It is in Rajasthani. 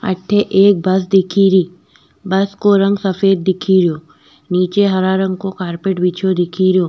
अठे एक बस दिखेरी बस को रंग सफ़ेद दिखे रियो निचे हरा रंग को कारपेट बिछयो दिखे रो।